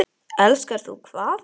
Elskar þú hvað?